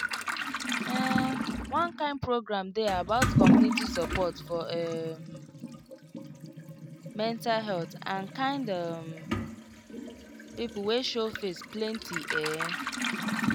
um one kind program dey about community support for um mental health and kind um people wey show face plenty ehh